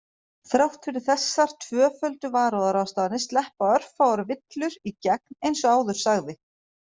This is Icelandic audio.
Þrátt fyrir þessar tvöföldu varúðarráðstafanir sleppa örfáar villur í gegn eins og áður sagði.